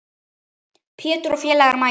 Pétur og félagar mæta.